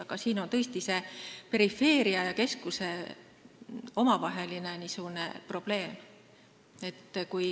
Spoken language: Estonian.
Aga siin on tõesti perifeeria ja keskuse omavaheline probleem.